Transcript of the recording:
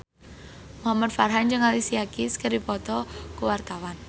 Muhamad Farhan jeung Alicia Keys keur dipoto ku wartawan